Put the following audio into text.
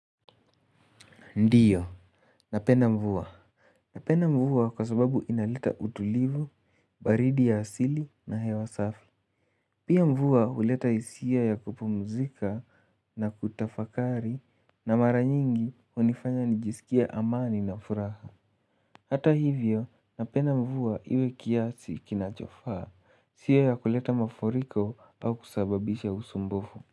Ndiyo, napenda mvua. Napenda mvua kwa sababu inaleta utulivu, baridi ya asili na hewa safi pia mvua huleta hisia ya kupumzika na kutafakari na mara nyingi hunifanya nijisike amani na furaha hata hivyo, napenda mvua iwe kiasi kinachofaa, sio ya kuleta mafuriko au kusababisha usumbufu.